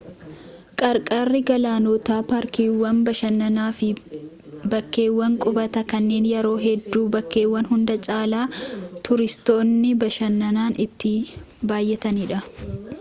qarqarri galaanootaa paarkiiwwan bashannanaa fi bakkeewwan qubataa kanneen yeroo hedduu bakkeewwan hunda caalaa tuuristoonni bashannanan itti baay'atanidha